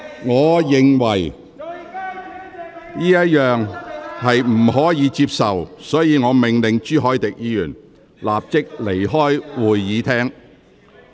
我認為這種做法不可接受，因此我命令朱凱廸議員立即離開會議廳。